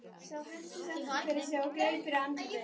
Sá hentist aftur fyrir sig og greip fyrir andlitið.